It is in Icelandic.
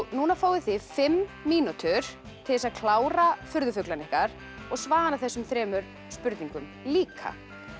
núna fáið þið fimm mínútur til þess að klára furðufuglana ykkar og svara þessum þremur spurningum líka